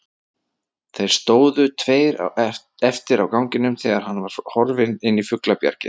Þeir stóðu tveir eftir á ganginum þegar hann var horfinn inn í fuglabjargið.